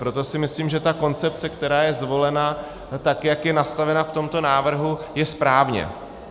Proto si myslím, že ta koncepce, která je zvolena, tak jak je nastavena v tomto návrhu, je správně.